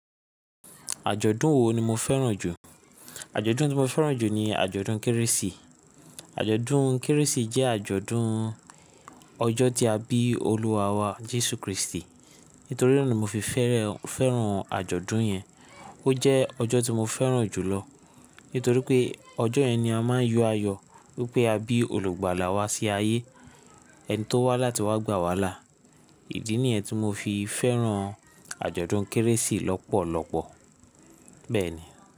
Àjọ̀dún wo ni mo fẹ́ràn jù? Àjọ̀dún tí mo fẹ́ràn jù ni àjọ̀dún Kérésì. Àjọ̀dún Kérésì jẹ́ àjọ̀dún ọjọ́ tí a bí olúwa wa Jesu Kristi. Nítorí náà ni mo fi fẹ́ràn àjọ̀dún yẹn. Ó jẹ́ ọjọ́ tí mo fẹ́ràn jùlọ. Nítorí pé ọjọ́ yẹn ni a máa ń yọ ayọ̀ wípé a bí olùgbàlà wa sí ayé. Ẹni tó wá láti wá gbà wàhálà. Ìdí nìyẹn tí mo fi fẹ́ràn àjọ̀dún Kérésì lọ́pọ̀lọpọ̀. Bẹ́ẹ̀ni.